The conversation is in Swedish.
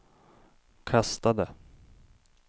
kastade